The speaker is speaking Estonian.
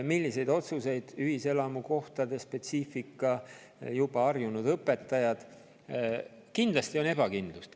Sellised otsused, ühiselamukohtade spetsiifika, juba harju õpetajad – kindlasti on ebakindlust.